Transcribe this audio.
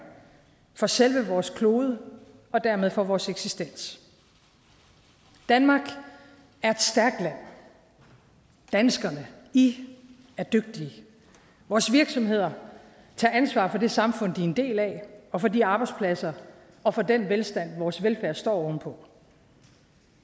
for selve vores klode og dermed for vores eksistens danmark er et stærkt land danskerne i er dygtige vores virksomheder tager ansvar for det samfund de er en del af og for de arbejdspladser og for den velstand vores velfærd står oven på